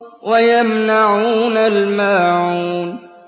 وَيَمْنَعُونَ الْمَاعُونَ